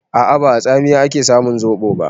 A'a, ba a tsamiya ake samun zoɓo ba.